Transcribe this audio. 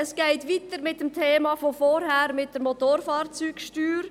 Es geht weiter mit dem Thema von vorhin, mit der Motorfahrzeugsteuer.